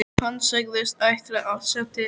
Hann sagðist ætla að sjá til.